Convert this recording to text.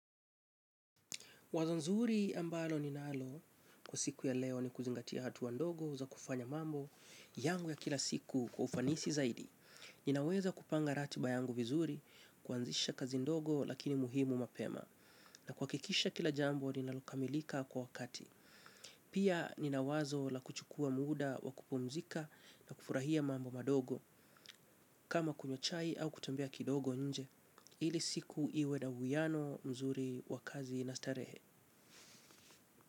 Wazo nzuri ambalo ninalo kwa siku ya leo ni kuzingatia hatua ndogo za kufanya mambo yangu ya kila siku kwa ufanisi zaidi. Ninaweza kupanga ratiba yangu vizuri, kuanzisha kazi ndogo lakini muhimu mapema na kuhakikisha kila jambo ninalokamilika kwa wakati. Pia nina wazo la kuchukua muda wa kupumzika na kufurahia mambo madogo kama kunywa chai au kutembea kidogo nje. Ili siku iwe na uwiano mzuri wa kazi na starehe.